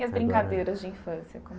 E as Agora brincadeiras de infância como